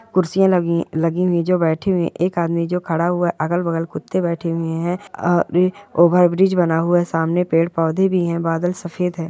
कुर्सियाँ लगी है लगी हुई है जो बैठी हुए एक आदमी जो खड़ा हुआ है अगल-बगल कुत्ते बैठे हुए है अ ओवर ब्रिज बना हुआ है सामने पेड़-पौधे भी है बदल सफेद है।